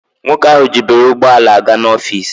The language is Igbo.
Nwoke ahụ jiburu ụgbọ ala a ga n'ọfis.